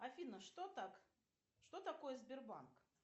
афина что так что такое сбербанк